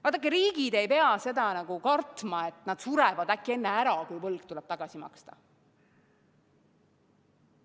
Vaadake, riigid ei pea kartma, et nad surevad äkki enne ära, kui võlg saab tagasi makstud.